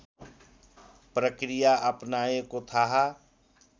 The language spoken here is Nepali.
प्रक्रिया अपनाएको थाहा